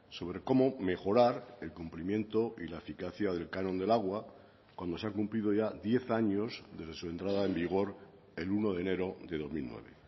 sobre cómo mejorar el cumplimiento y la eficacia del canon del agua cuando se ha cumplido ya diez años desde su entrada en vigor el uno de enero de dos mil nueve